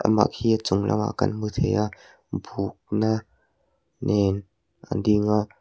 amah khi a chung lamah kan hmu thei a buka nen a ding a.